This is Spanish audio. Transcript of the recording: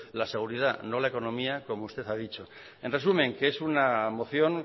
la seguridad no la economía como usted ha dicho en resumen que es una moción